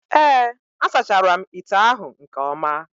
Ee, a sachara m ite ahụ nke ọma